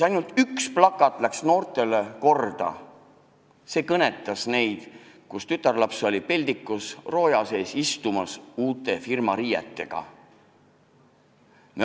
Ainult üks plakat läks noortele korda, kõnetas neid: tütarlaps oli peldikus, istus rooja sees oma uute firmariietega.